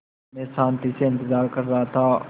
मैं शान्ति से इंतज़ार कर रहा था